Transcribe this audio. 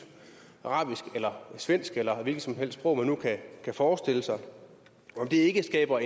arabisk eller svensk eller hvilket som helst sprog man nu kan forestille sig skaber